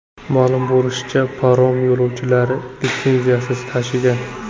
Ma’lum bo‘lishicha, parom yo‘lovchilarni litsenziyasiz tashigan.